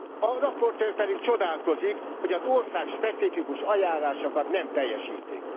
A raportőr pedig csodálkozik, hogy az országspecifikus ajánlásokat nem teljesítik.